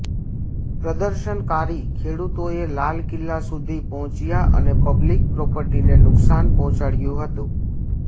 પ્રદર્શનકારી ખેડૂતોએ લાલ કિલ્લા સુધી પહોંચ્યા અને પબ્લિક પ્રોપર્ટીને નુકસાન પહોંચાડ્યુ હતુ